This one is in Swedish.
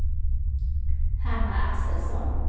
Hanna Axelsson